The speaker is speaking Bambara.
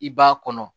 I b'a kɔnɔ